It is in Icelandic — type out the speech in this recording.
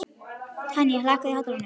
Tanya, lækkaðu í hátalaranum.